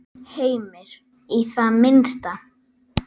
Heimir: Í það minnsta?